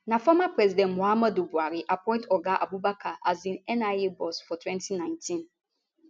na former president muhammadu buhari appoint oga abubakar as di nia boss for 2019